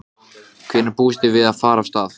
Ég var þó eldri en Örn útskýrði Jónsi.